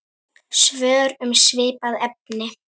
Svör um svipað efni